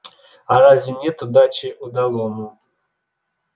а разве нет удачи удалому